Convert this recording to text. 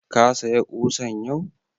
Ka saya ƙusan yau?